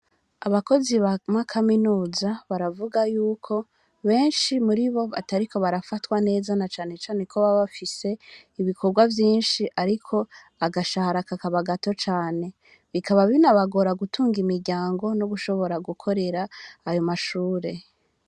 Abakozi b'amakaminuza baravuga y'uko benshi muri bo, batariko barafatwa neza, na cane cane ko baba bafise ibikorwa vyinshi, ariko agashahara kakaba gato cane; bikaba binabagora gutunga imiryango, n'ugushobora gukorera ayo mashure.